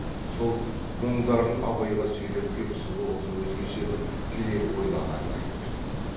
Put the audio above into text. сол мұңдарын абайға сөйлеп кеп сұлу қыз өзгеше бір тілек ойлағанын айтып еді